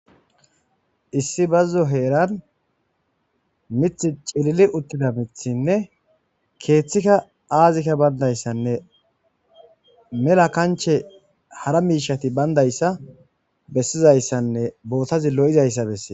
issi bazzo heeran mith cilili uttida mithinne keeththikka aazikka bayndayssanne mela kanche hara miishati bayndayssa bessizayssanne bootazi lo7izayssa besse